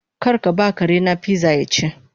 Karkaba karena pizza yaci